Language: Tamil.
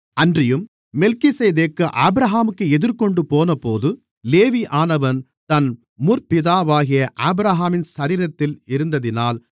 அன்றியும் மெல்கிசேதேக்கு ஆபிரகாமுக்கு எதிர்கொண்டுபோனபோது லேவியானவன் தன் முற்பிதாவாகிய ஆபிரகாமின் சரீரத்தில் இருந்ததினால்